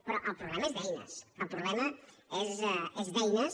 però el problema és d’eines el problema és d’eines